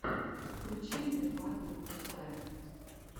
включи мне батл луцая